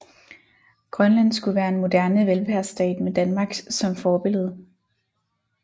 Grønland skulle være en moderne velfærdsstat med Danmark som forbillede